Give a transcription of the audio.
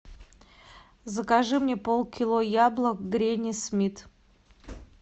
закажи мне пол кило яблок гренни смит